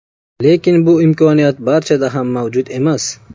Lekin bu imkoniyat barchada ham mavjud emas.